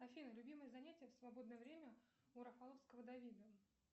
афина любимое занятие в свободное время у рафаловского давида